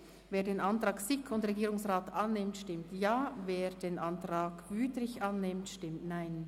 Wer den Antrag SiK und Regierung annimmt, stimmt Ja, wer den Antrag Wüthrich annimmt, stimmt Nein.